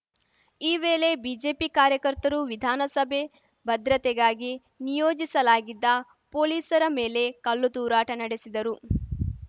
ಈ ವೇಲೆ ಬಿಜೆಪಿ ಕಾರ್ಯಕರ್ತರು ವಿಧಾನಸಭೆ ಭದ್ರತೆಗಾಗಿ ನಿಯೋಜಿಸಲಾಗಿದ್ದ ಪೊಲೀಸರ ಮೇಲೆ ಕಲ್ಲು ತೂರಾಟ ನಡೆಸಿದರು